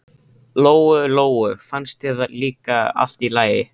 Lóu Lóu fannst það líka allt í lagi.